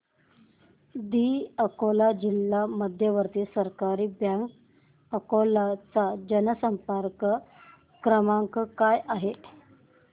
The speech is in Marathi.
दि अकोला जिल्हा मध्यवर्ती सहकारी बँक अकोला चा जनसंपर्क क्रमांक काय आहे